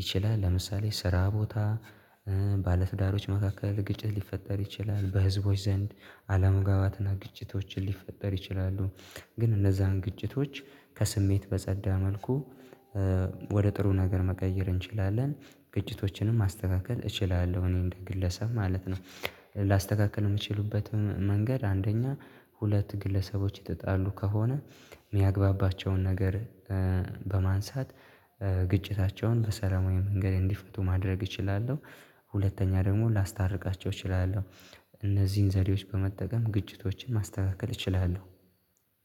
ይችላል። ለምሳሌ ስራ ቦታ ባለትዳሮች መካከል ግጭት ሊፈጠር ይችላል በህዝቦች ዘንድ አለመጋባትና ግጭቶችን ሊፈጠር ይችላሉ። ግን እነዛን ግጭቶች ከስሜት በጸዳ መልኩ ወደ ጥሩ ነገር መቀየር እንችላለን። ግጭቶችንም ማስተካከል እችላለሁ እኔ እንደ ግለሰብ ማለት ነው። ላስተካክል የምችልበትም መንገድ አንደኛ ሁለት ግለሰቦች የተጣሉ ከሆነ የሚያግባባቸውን ነገር በማንሳት ግጭታቸውን በሰላማዊ መንገድ እንዲፈቱ ማድረግ እችላለሁ። ሁለተኛ ደግሞ ላስታርቃቸው እችላለሁ። እነዚህን ዘዴዎች በመጠቀም ግጭቶችን ማስተካከል እችላለሁ።